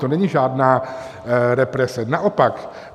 To není žádná represe, naopak.